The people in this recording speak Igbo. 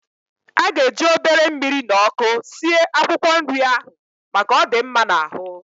A ga-eji obere mmiri na ọkụ sie akwụkwọ nrị ahụ, maka, ọ dị mma n'ahụ